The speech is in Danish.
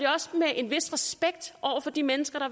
også med en vis respekt for de mennesker der